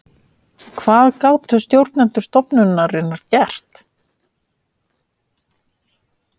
Hvað gátu stjórnendur stofnunarinnar gert?